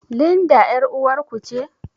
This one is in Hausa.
Linda ƴar uwar ku ce?